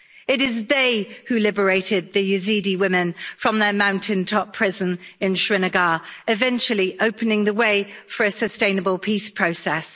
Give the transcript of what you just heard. It is they who liberated the Yazidi women from their mountaintop prison in Sinjar, eventually opening the way for a sustainable peace process.